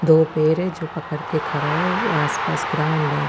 दो पेर है जो पकड़ के खरा है आस पास ग्राउन है।